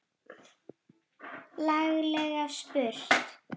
Laglega spurt!